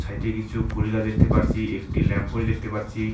সাইটে এটি কিছু ফুল গাছ দেখতে পারছি একটি ল্যাম্প পোস্ট দেখতে পারছি।